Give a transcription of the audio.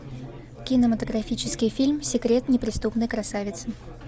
кинематографический фильм секрет неприступной красавицы